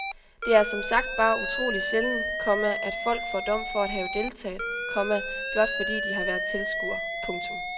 Det er som sagt bare utroligt sjældent, komma at folk får dom for at have deltaget, komma blot fordi de har været tilskuere. punktum